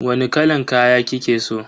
Wani kalan kaya kike so?